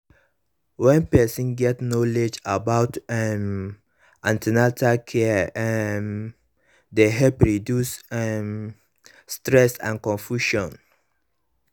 wen person get knowledge about um an ten atal caree um dey help reduce um stress and confusion